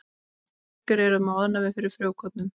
Margir eru með ofnæmi fyrir frjókornum.